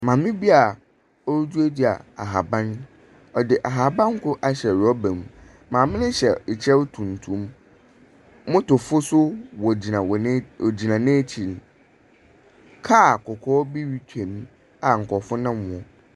Maame bi wɔɔduadua ahaban, wɔde ahaban kro ahyɛ rɔba mu. Maame ne hyɛ ɛkyɛw tuntum, motofo so ɔgyina n'akyiri, kaa kɔkɔɔ bi retwam a nkorɔfo nam ho.